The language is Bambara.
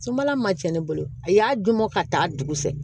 Sunbala ma cɛn ne bolo a y'a dun mɔ ka taa dugu sa